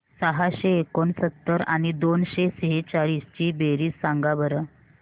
सहाशे एकोणसत्तर आणि दोनशे सेहचाळीस ची बेरीज सांगा बरं